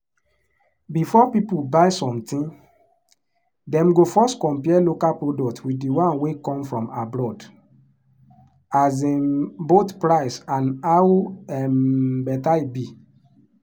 before people buy something dem go first compare local product with the one wey come from abroad um — both price and how um better e be.